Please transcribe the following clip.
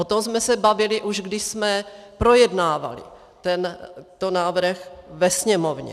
O tom jsme se bavili, už když jsme projednávali ten návrh ve Sněmovně.